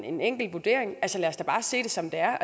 en enkelt vurdering vil jeg sige lad os bare se det som det er